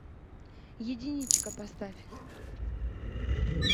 единичка поставь